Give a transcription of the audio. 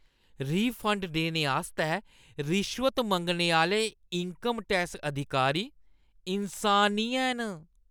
Refund देने आस्तै रिश्वत मंग्गने आह्‌ले इन्कम टैक्स अधिकारी इन्सान नेईं हैन।